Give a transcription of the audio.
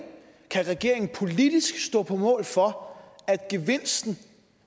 kan regeringen politisk stå på mål for at gevinsten